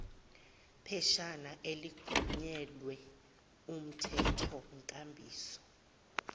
pheshana elixhunyelwe kumthethonkambiso